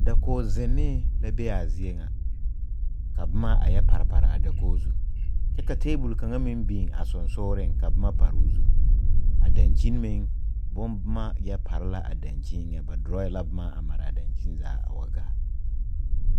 Dakog-zennee la be a zie ŋa, ka boma a yɛ pare pare a dakogi zu, kyɛ ka teebol kaŋa meŋ biŋ a sonsogreŋ ka boma pare o zu. A dankyini meŋ, bomboma yɛ pare la a dankyini eŋɛ, ba dorɔɔye la boma a mare a dankyini zaa a wa gaa.